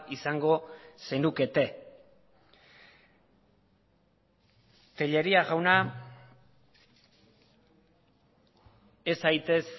izango zenukete tellería jauna ez zaitez